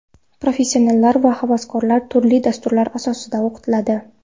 Professionallar va havaskorlar turli dasturlar asosida o‘qitiladi.